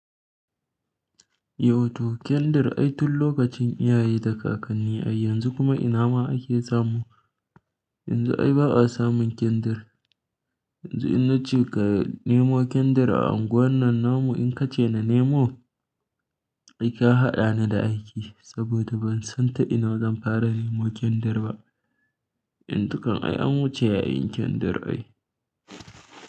Yau to kyandir ai tun lokacin iyaye da kakanni ai yanzu kuma ina ma ake samu. Yanzu ai ba a samun kyandir. Yanzu in nace ka nemo kyandir a unguwar nan namu in ka ce na nemo, ai ka haɗa ni da aiki saboda ban san ta ina zan fara nemo kyandir ba. Yanzu kan ai an wuce yayin kyandir ai.